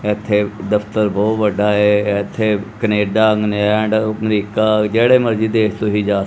ਇੱਥ ਦਫ਼ਤਰ ਬਹੁਤ ਵੱਡਾ ਏ ਇੱਥੇ ਕਨੇਡਾ ਇੰਗਲੈਂਡ ਅਮਰੀਕਾ ਜਿਹੜੇ ਮਰਜ਼ੀ ਦੇਸ਼ ਤੁਹੀ ਜਾ --